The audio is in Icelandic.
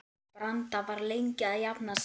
Branda var lengi að jafna sig.